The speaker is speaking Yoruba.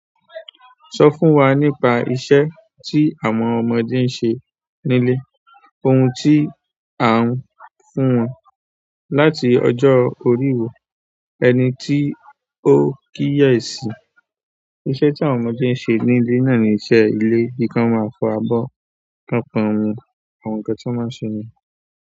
Sọ fún wa nípa iṣẹ́ tí àwọn ọmọdé ń ṣe nílé, ohun tí à ń fún wọn láti ọjọ́ oríwo, ẹni tí ó ń kíyèsi. Iṣẹ́ tí àwọn ọmọdé ń ṣe nílé náà ni iṣẹ́ ilé, bí k'ọ́n máa fọ abọ́, k'ọ́n pọn omi. Àwọn nǹkan tí wọ́n máa ń ṣe nìyẹn.